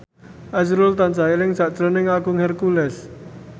azrul tansah eling sakjroning Agung Hercules